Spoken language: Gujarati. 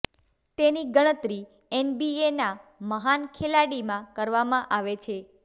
તેની ગણતરી એનબીએના મહાન ખેલાડીમાં કરવામાં આવે છે